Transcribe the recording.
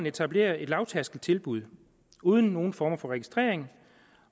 etablere et lavtærskeltilbud uden nogen former for registrering